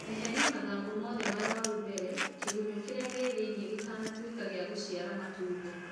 Eheria mathangũ mothe marũaru mbere kĩgunyũ kĩrĩa gĩ thĩiniĩ gĩtanatuĩka gĩa gũciara matumbi